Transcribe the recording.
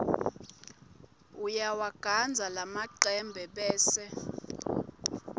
uyawagandza lamacembe bese